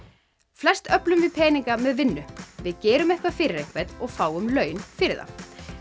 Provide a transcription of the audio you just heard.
flest öflum við peninga með vinnu við gerum eitthvað fyrir einhvern og fáum laun fyrir það